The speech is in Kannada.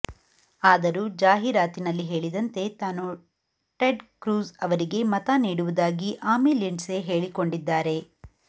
ಆದರೂ ಜಾಹೀರಾತಿನಲ್ಲಿ ಹೇಳಿದಂತೆ ತಾನು ಟೆಡ್ ಕ್ರೂಜ್ ಅವರಿಗೇ ಮತ ನೀಡುವುದಾಗಿ ಆಮಿ ಲಿಂಡ್ಸೆ ಹೇಳಿಕೊಂಡಿದ್ದಾರೆ